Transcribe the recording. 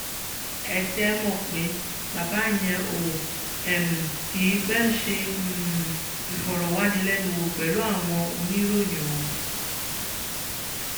ẹ dé mọ̀ pé bàbá yẹn ò um kì í pẹ́ẹ́ ṣe um ìfọ̀rọ̀wánilẹ́nuwò pẹ̀lú àwọn oníròyìn o